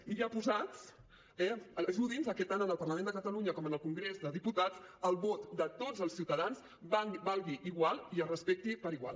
i ja posats eh ajudi’ns que tant en el parlament de catalunya com en congrés dels diputats el vot de tots els ciutadans valgui igual i es respecti per igual